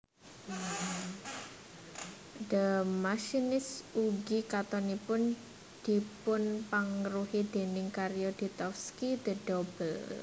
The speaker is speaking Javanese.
The Machinist ugi katonipun dipunpangaruhi déning karya Dostovsky The Double